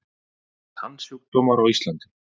Tannsjúkdómar á Íslandi